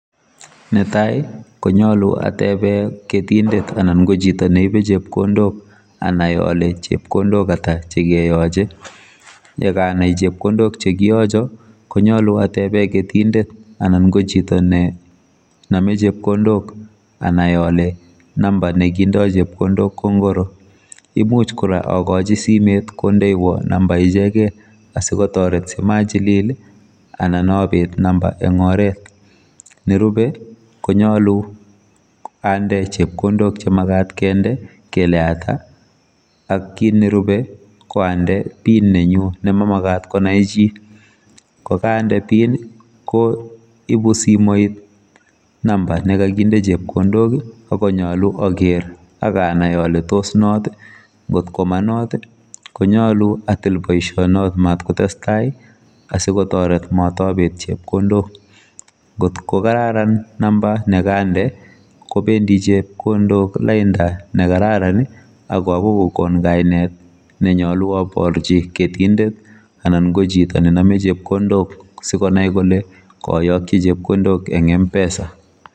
Netai konyalu atebe ketindet anan kochito neibe chepkondok anai kole chepkondok ata chekeyoche yekanai chepkondok chekiyacho konyalu atebe ketindet anan chito nenome chepkondok anai ale number nekindoi chepkondok ko ngoro imuch kora akochi simet kondoiwo number ichekei asikotoret machilil anan abet number en oret nerube konyalu ande chepkondok chemagat kende kele ata ak kit nerube koande pin nenyu nemamagat konai chi kokande pin koibu simoit number chekakinde chepkondok akonyalu akeer akanai ale tosnot ko ngotko monot konyalu atil boisionot matkotestai asikobit kotoret matabet chepkondok ngotkokararan number nekande kobendi chepkondok lainda nekararan akoagoi kokon kainet nemyalu aborchi ketindeeet ana ko chito nenome chepkondok sikonai kole kayokchi chepkondok eng mpesa